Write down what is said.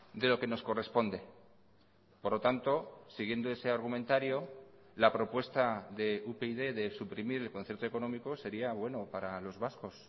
de lo que nos corresponde por lo tanto siguiendo ese argumentario la propuesta de upyd de suprimir el concierto económico sería bueno para los vascos